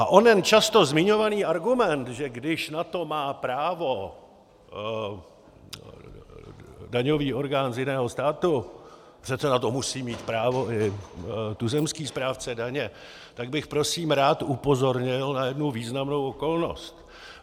A onen často zmiňovaný argument, že když na to má právo daňový orgán z jiného státu, přece na to musí mít právo i tuzemský správce daně, tak bych prosím rád upozornil na jednu významnou okolnost.